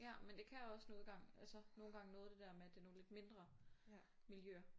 Ja men det kan også nogen gange altså nogen gange noget det der med at det er nogle lidt mindre milljøer